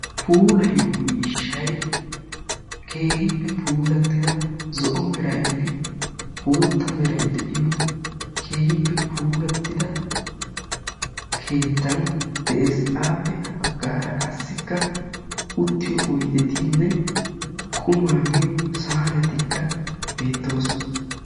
Puulayyiyo miishshay keehippe puulatida zo'o meraynne bootta meray de'iyo keehippe puulattida keettay de'ees. Appe ha baggaara qassikka uttito oyddetinne qumaa miyyo saanetikka beettoosona.